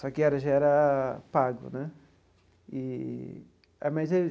Só que era já era pago né eee ah mas.